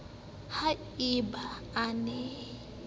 ha e ba a na